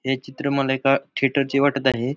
हे चित्र मला एका थिएटर चे वाटत आहे.